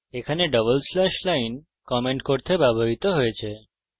এখানে double slash line comment করতে ব্যবহৃত হয়েছে